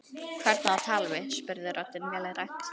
Hvern á að tala við? spurði röddin vélrænt.